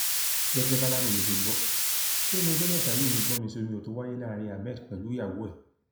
gẹgẹ bàlàròyé ṣe gbọ lẹnu ọjọ mẹta yìí ni gbọnmisíiomiòtóó wáyé láàrin ahmed pẹlú ìyàwó ẹ